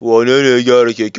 Wane ne ya gyara keken?